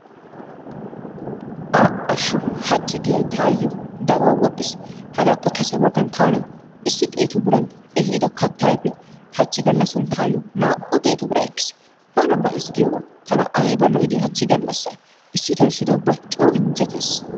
A"ashsho haachchi giyyay taayoo daruwaa wodhdhiis. Hagappe kase baaggan taani issi xeettu biiran eehido kaattaa ayfee haachchi gaallassan taayoo naa"u xeettu biiraa ekkiis. Bana ba"iis giyoogaa tana ayba lo"idee haachchi gaallasay issitoo issitoo ubba coo injjettees.